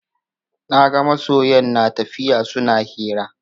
Naga masoyan natafiya suna hira